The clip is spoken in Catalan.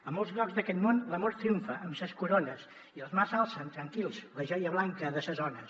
en molts llocs d’aquest món l’amor triomfa amb ses corones i els mars alcen tranquils la joia blanca de ses ones